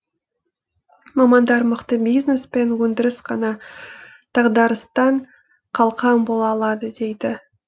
мамандар мықты бизнес пен өндіріс қана дағдарыстан қалқан бола алады дейді